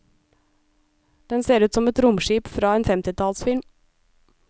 Den ser ut som et romskip fra en femtitallsfilm.